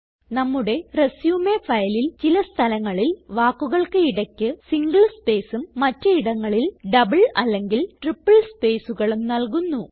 നമ്മുടെ റിസ്യൂം ഫയലിൽ ചില സ്ഥലങ്ങളിൽ വാക്കുകൾക്ക് ഇടയ്ക്ക് സിംഗിൾ സ്പേസും മറ്റ് ഇടങ്ങളിൽ ഡബിൾ അല്ലെങ്കിൽ ട്രിപ്പിൾ സ്പേസ്കളും നല്കുന്നു